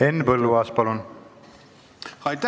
Henn Põlluaas, palun!